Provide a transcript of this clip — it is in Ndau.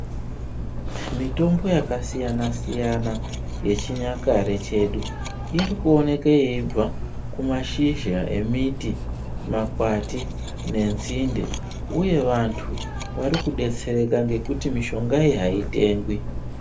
Mitombo yakasiyana siyana yechinyakare chedu iri kuoneka yeibva kumashizha emiti, makwati nenzinde uye vantu vari kudetsereka ngekuti mishonga iyi haitengwi